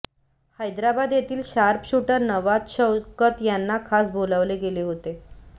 हैद्राबाद येथील शार्पशुटर नवाब शौकत यांना खास बोलावले गेले होते